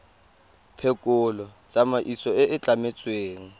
phekolo tsamaiso e e tlametsweng